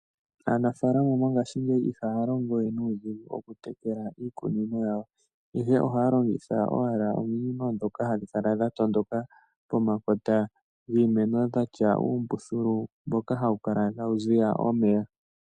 Aanafalama mongashingeyi ihaya longo we nuudhigu okutekela iikunino yawo, ihe ohaya longitha owala ominino ndhoka hadhi kala dha tondoka pomakota giimeno dha tya uumbuthulu mboka hawu kala tawu ziya omeya.